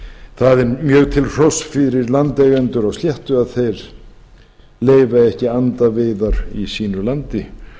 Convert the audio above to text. það er mjög til hróss fyrir landeigendur á sléttu að þeir leyfa ekki andaveiðar í sínu landi